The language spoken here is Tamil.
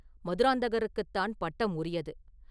மதுராந்தகருக்குத்தான் பட்டம் உரியது.